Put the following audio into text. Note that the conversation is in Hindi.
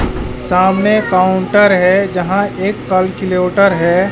सामने काउंटर है यहां एक कालकिलिउटर है।